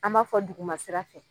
An b'a fɔ duguma sira fɛ,